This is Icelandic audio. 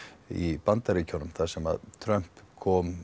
í Bandaríkjunum þar sem Trump kom